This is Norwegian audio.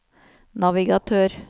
navigatør